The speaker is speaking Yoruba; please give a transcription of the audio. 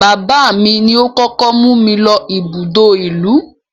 Bàbáà mi ni ó kókó mú mi lọ ibùdó ìlú.